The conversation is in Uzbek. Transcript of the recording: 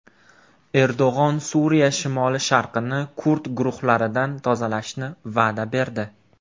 Erdo‘g‘on Suriya shimoli-sharqini kurd guruhlaridan tozalashni va’da berdi.